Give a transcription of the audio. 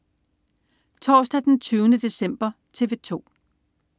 Torsdag den 20. december - TV 2: